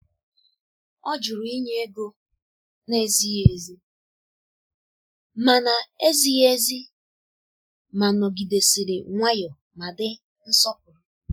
Ọ jụrụ ịnye ego na-ezighị ezi, ma na-ezighị ezi, ma nọgidesiri nwayọọ ma di nsọpụrụ.